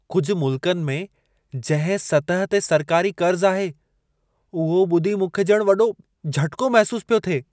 कुझ मुल्कनि में जंहिं सतह ते सरकारी क़र्ज़ आहे, उहो ॿुधी मूंखे ॼणु वॾो झटिको महिसूसु पियो थिए।